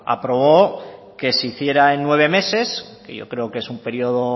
aprobó que se hiciera en nueve meses que yo creo que es un periodo